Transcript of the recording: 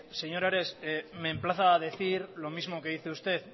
señor ares me emplaza a decir lo mismo que dice usted